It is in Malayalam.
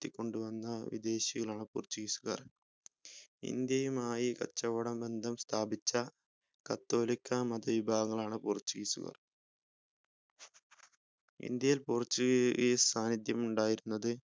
ഉയർത്തികൊണ്ടുവന്ന വിദേശികളാണ് portuguese ഉകാർ ഇന്ത്യയും ആയി കച്ചവടബന്ധം സ്ഥാപിച്ച കാതോലികാ മതവിഭാഗങ്ങളാണ് portuguese ഉകാർ ഇന്ത്യയിൽ portuguese സാന്നിധ്യം ഉണ്ടായിരുന്നത്